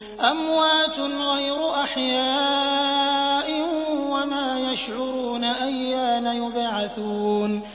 أَمْوَاتٌ غَيْرُ أَحْيَاءٍ ۖ وَمَا يَشْعُرُونَ أَيَّانَ يُبْعَثُونَ